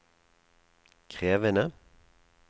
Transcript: krevende